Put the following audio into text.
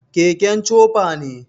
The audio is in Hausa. keken chopa ne